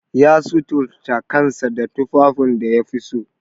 Ya suturta kanasa da tufafin da yafi so.